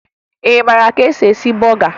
Ị mara ka e si eme bọga?